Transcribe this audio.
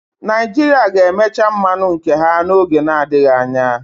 Naijirịa ga-emecha mmanụ nke ya n'oge adịghị anya.